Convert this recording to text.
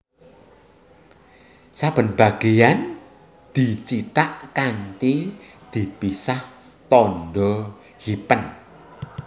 Saben bagéyan dicithak kanthi dipisah tandha hyphen